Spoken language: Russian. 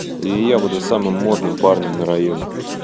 и я буду самым модным парнем на районе